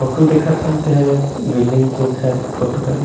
Photo देखत हन तेह बिल्डिंग के घर के फोटो हरे।